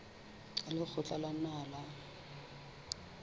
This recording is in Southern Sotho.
wa lekgotla la naha la